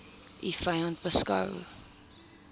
u vyand beskou